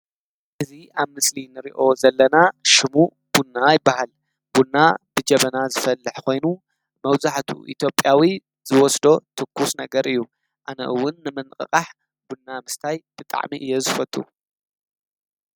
እዚ አብዚ ምስሊ እንሪኦ ዘለና ሽሙ ቡና ይበሃል፡፡ ቡና ብጀበና ዝፈልሕ ኮይኑ መብዛሕትኡ ኢትዮጵያዊ ዝወስዶ ትኩስ ነገር እዩ፡፡ አነ እውን ንምንቅቃሕ ቡና ምስታይ ብጣዕሚ እየ ዝፈቱ፡፡